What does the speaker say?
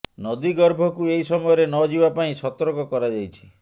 ନଦୀ ଗର୍ଭକୁ ଏହି ସମୟରେ ନ ଯିବା ପାଇଁ ସତର୍କ କରାଯାଇଛି